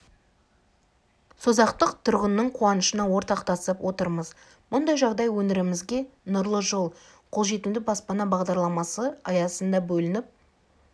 созақтық тұрғынның қуанышына ортақтасып отырмыз мұндай жағдай өңірімізге нұрлы жол қолжетімді баспана бағдарламасы аясында бөлініп